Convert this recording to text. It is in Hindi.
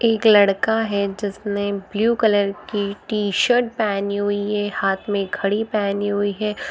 एक लड़का है जिसने ब्लू कलर की टी-शर्ट पैहनी हुई है | हाथ में घड़ी पैहनी हुई है ।